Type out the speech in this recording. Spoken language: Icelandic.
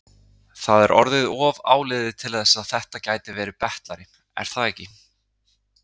Það er orðið of áliðið til þess að þetta gæti verið betlari, er það ekki?